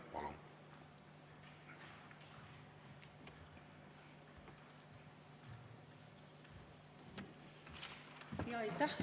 Palun!